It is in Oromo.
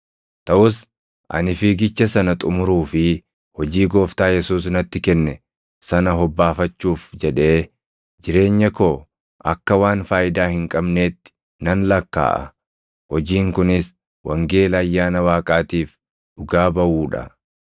Taʼus ani fiigicha sana xumuruu fi hojii Gooftaa Yesuus natti kenne sana hobbaafachuuf jedhee jireenya koo akka waan faayidaa hin qabneetti nan lakkaaʼa; hojiin kunis wangeela ayyaana Waaqaatiif dhugaa baʼuu dha.